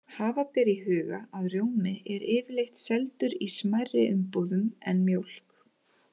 Hafa ber í huga að rjómi er yfirleitt seldur í smærri umbúðum en mjólk.